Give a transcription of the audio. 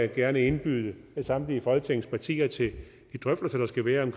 gerne indbyde samtlige folketingets partier til de drøftelser der skal være om